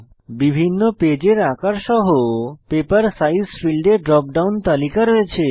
বিভিন্ন পেজের আকার সহ পেপার সাইজ ফীল্ডে ড্রপ ডাউন তালিকা রয়েছে